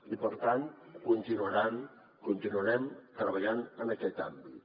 i per tant continuarem treballant en aquest àmbit